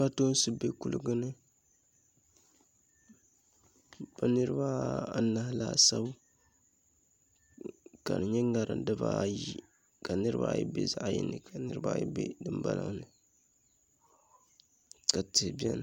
Kpatoonsi bɛ kuligi ni bi niraba anahi laasabu ka di nyɛ ŋarim dibaayi ka niraba ayi bɛ zaɣ yini ni ka niraba ayi bɛ zaɣ yini ni ka niraba ayi bɛ dinbala ni ka tihi biɛni